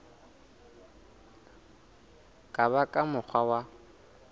ka ba ka mokgwa wa